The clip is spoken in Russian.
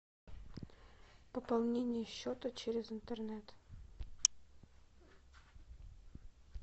пополнение счета через интернет